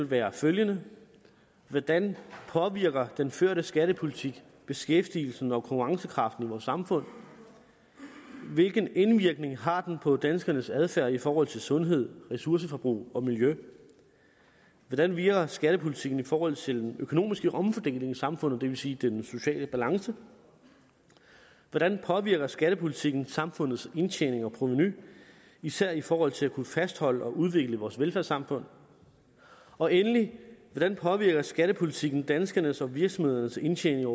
være følgende hvordan påvirker den førte skattepolitik beskæftigelsen og konkurrencekraften i vores samfund hvilken indvirkning har den på danskernes adfærd i forhold til sundhed ressourceforbrug og miljø hvordan virker skattepolitikken i forhold til den økonomiske omfordeling i samfundet det vil sige den sociale balance hvordan påvirker skattepolitikken samfundets indtjening og provenu især i forhold til at kunne fastholde og udvikle vores velfærdssamfund og endelig hvordan påvirker skattepolitikken danskernes og virksomhedernes indtjening og